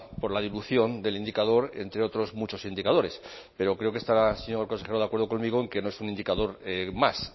por la dilución del indicador entre otros muchos indicadores pero creo que estará el señor consejero de acuerdo conmigo en que no es un indicador más